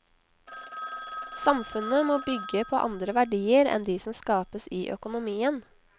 Samfunnet må bygge på andre verdier enn de som skapes i økonomien.